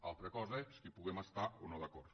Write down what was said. una altra cosa és que hi puguem estar no d’acord